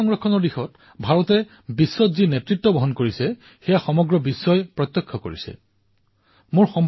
পৰিবেশ সংৰক্ষণৰ দিশত ভাৰতে সমগ্ৰ বিশ্বত যিদৰে নেতৃত্ব বহন কৰিছে সেয়া প্ৰত্যক্ষ কৰি আজি সকলো দেশৰ দৃষ্টি ভাৰতৰ ওপৰত নিৱদ্ধ হৈছে